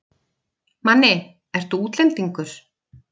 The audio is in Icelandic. Manni, ertu útlendingur?